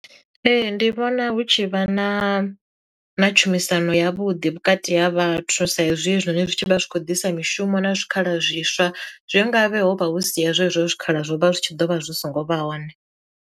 Ee ndi vhona hu tshi vha na na tshumisano ya vhuḓi vhukati ha vhathu sa izwi hezwinoni zwi vha zwi khou ḓisa mishumo na zwikhala zwiswa zwe nga vhe ho vha hu si hezwo hezwo zwikhala zwo vha zwi tshi ḓo vha zwi so ngo vha hone.